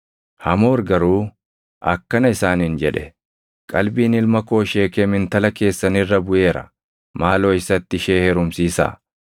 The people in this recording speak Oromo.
Hamoor garuu akkana isaaniin jedhe; “Qalbiin ilma koo Sheekem intala keessan irra buʼeera. Maaloo isatti ishee heerumsiisaa.